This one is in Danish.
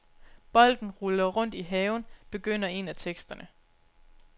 Bolden ruller rundt i haven, begynder en af teksterne.